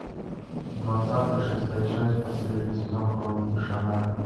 двадцатый шестая часть последний сезон хроники шаннары